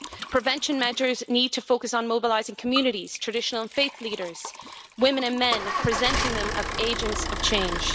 Prevention measures need to focus on mobilising communities, traditional faith leaders, women and men presenting them as agents of change.